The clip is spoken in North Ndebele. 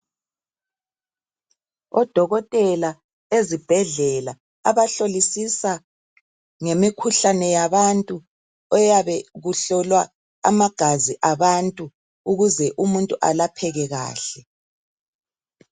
Odokotela ezibhedlela, abahlolisisa ngemikhuhlane yabantu. Eyabe kuhlolwa amagazi abantu. Ukuze umuntu alapheke kahle.